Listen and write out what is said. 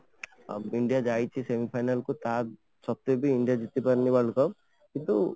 india ଯାଇଛି semifinal କୁ ତା ସତ୍ୱେ ବି india ଜିତିପାରୁନି World Cup କିନ୍ତୁ